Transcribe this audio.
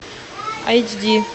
эйч ди